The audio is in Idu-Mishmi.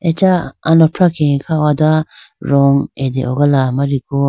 acha alofra khege kha ho da rong atehogala amariku.